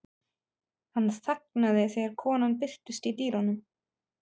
Þú ein þekkir hjarta mitt allt.